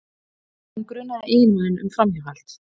En hún grunaði eiginmanninn um framhjáhald